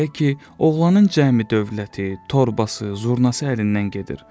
Belə ki, oğlanın cəmi dövləti, torbası, zurnası əlindən gedir.